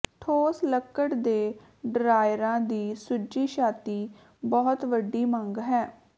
ਠੋਸ ਲੱਕੜ ਦੇ ਡਰਾਅਰਾਂ ਦੀ ਸੁੱਜੀ ਛਾਤੀ ਬਹੁਤ ਵੱਡੀ ਮੰਗ ਹੈ